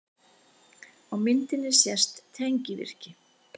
Á myndinni sést tengivirki.